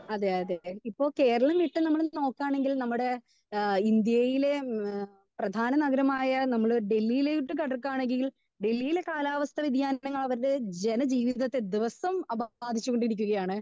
Speaker 2 അതെ അതെ അത് തന്നെ ഇപ്പൊ കേരളം വിട്ട് നമ്മൾ നോക്കാണെങ്കിൽ നമ്മുടെ ഏഹ് ഇന്ത്യയിലെ പ്രധാന നഗരമായ നമ്മള് ഡൽഹിയിലോട്ട് കടക്കുകയാണെങ്കിൽ ഡൽഹിയിലെ കാലാവസ്ഥ വ്യതിയാനങ്ങൾ അവിടുത്തെ ജനജീവിതത്തെ ദിവസവും അവ ബാധിച്ചു കൊണ്ടിരിക്കുകയാണ്.